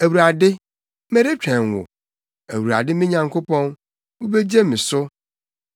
Awurade, meretwɛn wo; Awurade me Nyankopɔn, wubegye me so.